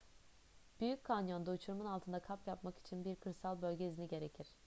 büyük kanyon'da uçurumun altında kamp yapmak için bir kırsal bölge izni gerekir